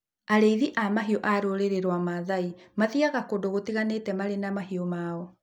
Arĩithi a mahiũ a rũrĩrĩ rwaa mathai mathiaga kũndũ gũtiganĩte marĩ na mahiũ mao.